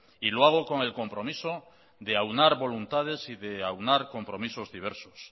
y lo hago con el compromiso de aunar voluntades y de aunar compromisos diversos